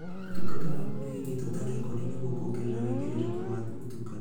Ũtungata waku nĩ wigetwo ta rekondi nĩguo kuongerera wegerereku wa ũtungata.